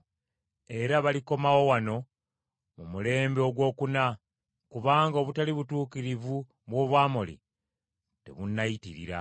Era balikomawo wano mu mulembe ogwokuna; kubanga obutali butuukirivu bw’Omwamoli tebunnayitirira.”